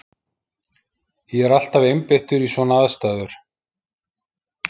Ég er alltaf einbeittur í svona aðstæður.